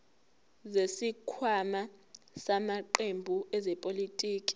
zesikhwama samaqembu ezepolitiki